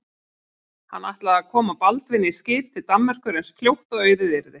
Hann ætlaði að koma Baldvini í skip til Danmerkur eins fljótt og auðið yrði.